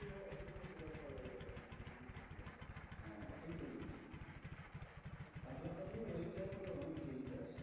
একলা থাকলে ওইটা তোর অনেক দেরিতে আসে।